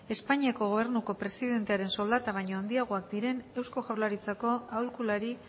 espainiako gobernuko presidentearen soldata baino handiagoak diren eusko jaurlaritzako aholkulari